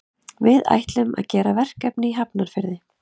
Við ætlum að gera verkefni í Hafnarfirði.